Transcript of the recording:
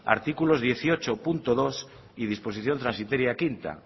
artículos dieciocho punto dos y disposición transitoria quinta